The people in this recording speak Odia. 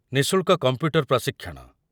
ନିଃଶୁଳ୍କ କମ୍ପ୍ୟୁଟର ପ୍ରଶିକ୍ଷଣ